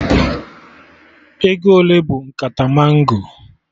Ego ole bụ nkata mango?